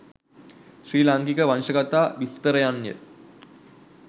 ශ්‍රී ලාංකික වංශකථා විස්තරයන්ය.